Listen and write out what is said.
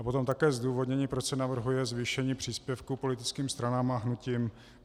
A potom také zdůvodnění, proč se navrhuje zvýšení příspěvku politickým stranám a hnutím.